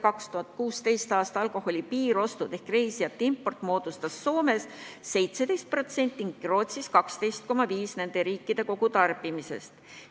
2016. aastal moodustasid alkoholi piiriostud Soomes 17% ning Rootsis 12,5% nende riikide kogutarbimisest.